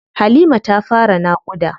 Halima ta fara naƙuda.